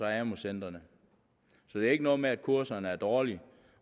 amu centrene så det er ikke noget med at kurserne er dårlige